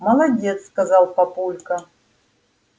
молодец сказал папулька